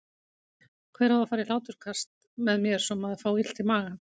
Hver á að fara í hláturskast með mér svo maður fái illt í magann?